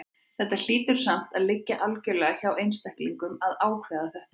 Þetta hlýtur samt að liggja algjörlega hjá einstaklingnum að ákveða þetta.